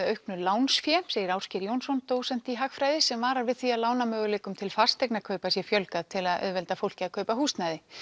auknu lánsfé segir Ásgeir Jónsson dósent í hagfræði sem varar við því að lánamöguleikum til fasteignakaupa sé fjölgað til að auðvelda fólki að kaupa húsnæði